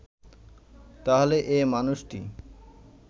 তাহলে এ মানুষটি